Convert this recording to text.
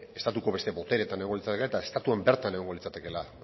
estatuko beste botereetan egongo litzatekeela eta estatuan bertan egongo litzatekeela